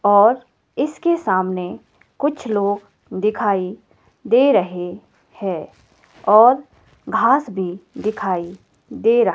और इसके सामने कुछ लोग दिखाई दे रहे हैं और घास भी दिखाई दे रहा--